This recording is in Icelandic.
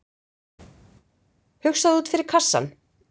Hugsaðu út fyrir kassann